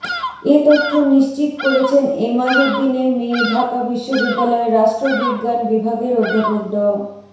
এ তথ্য নিশ্চিত করেছেন এমাজউদ্দিনের মেয়ে ঢাকা বিশ্ববিদ্যালয়ের রাষ্ট্রবিজ্ঞান বিভাগের অধ্যাপক ড